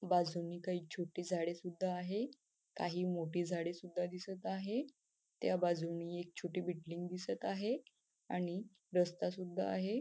बाजूने काही छोटी झाडे सुद्धा आहे काही मोठी झाडे सुद्धा दिसत आहे त्या बाजूने एक छोटी बिल्डिंग दिसत आहे आणि रस्ता सुद्धा आहे.